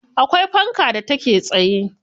Akwai fanka da take tsaye.